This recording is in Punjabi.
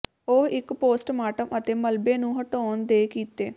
ਉਹ ਇੱਕ ਪੋਸਟਮਾਰਟਮ ਅਤੇ ਮਲਬੇ ਨੂੰ ਹਟਾਉਣ ਦੇ ਕੀਤੇ